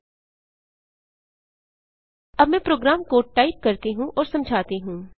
अब मैं program code type करती हूँ और समझाती हूँ